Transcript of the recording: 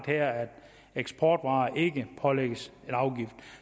her at eksportvarer ikke pålægges afgift